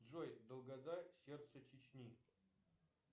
джой долгота сердце чечни